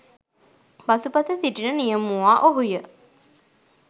පසුපස සිටින නියමුවා ඔහු ය.